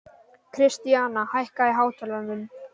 Kristíana, hækkaðu í hátalaranum.